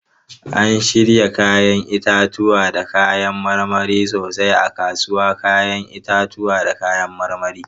An shirya 'ya'yan itatuwa da kayan marmari sosai a kasuwar 'ya'yan itatuwa da kayan marmari.